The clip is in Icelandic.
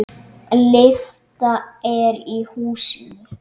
Lyfta er í húsinu.